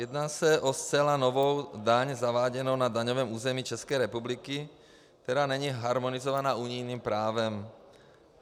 Jedná se o zcela novou daň zaváděnou na daňovém území České republiky, která není harmonizovaná unijním právem.